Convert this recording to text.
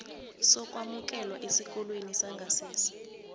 sokwemukelwa esikolweni sangasese